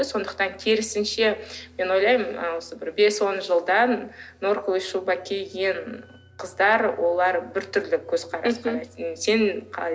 сондықтан керісінше мен ойлаймын ы осы бір бес он жылдан норковая шуба киген қыздар олар біртүрлі көзқарас